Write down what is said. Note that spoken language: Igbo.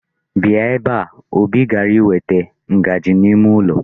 Bia ebe a! Obi gara iweta ngaji n'ime ụlọ.